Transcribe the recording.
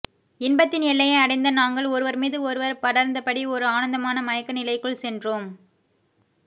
இன்பத்தின் எல்லையை அடைந்த நாங்கள் ஒருவர் மீது ஒருவர் படர்ந்தபடி ஒரு ஆனந்தமான மயக்கநிலைக்குள் சென்றோம்